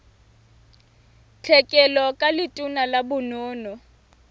tlhekelo ka letona la bonono